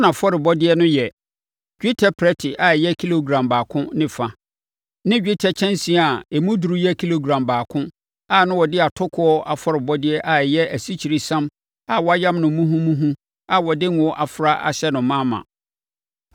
Na nʼafɔrebɔdeɛ no yɛ: dwetɛ prɛte a ɛyɛ kilogram baako ne fa ne dwetɛ kyɛnsee a emu duru yɛ kilogram baako na wɔde atokoɔ afɔrebɔdeɛ a ɛyɛ asikyiresiam a wɔayam no muhumuhu a wɔde ngo afra ahyɛ no ma ma.